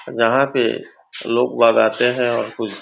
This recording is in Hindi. यहाँ पे लोग बजाते हैं और कुछ